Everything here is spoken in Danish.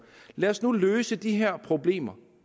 lad os nu løse de her problemer